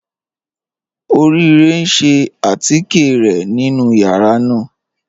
Orire n ṣẹ̀ àtíkẹ̀ rẹ̀ nínu yàrá náà.